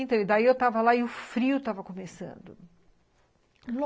Então, daí eu estava lá e o frio estava começando.